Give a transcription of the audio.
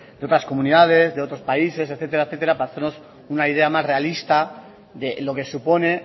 de otras comunidades de otros países etcétera para hacernos una idea más realista de lo que supone